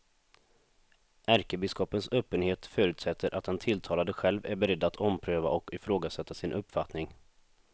Ärkebiskopens öppenhet förutsätter att den tilltalade själv är beredd att ompröva och ifrågasätta sin uppfattning.